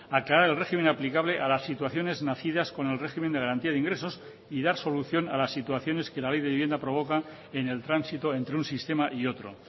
aclarar el régimen aplicable a las situaciones nacidas con el régimen de garantía de ingresos y dar solución a las situaciones que la ley de vivienda provoca en el tránsito entre un sistema y otro